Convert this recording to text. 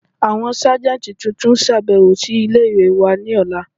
Àwọn sáàjẹntí tuntun n ṣàbẹ̀wò sí ilẹ̀-ìwé wà ni òla.